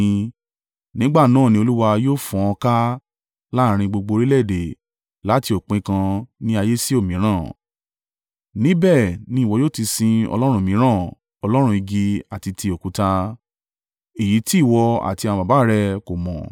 Nígbà náà ni Olúwa yóò fọ́n ọ ká láàrín gbogbo orílẹ̀-èdè, láti òpin kan ní ayé sí òmíràn. Níbẹ̀ ni ìwọ yóò ti sin ọlọ́run mìíràn: ọlọ́run igi àti ti òkúta. Èyí tí ìwọ àti àwọn baba rẹ kò mọ̀.